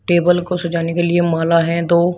Table को सजाने के लिए माल है दो।